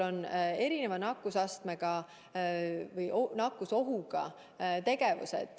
On erineva nakkusohuga tegevusi.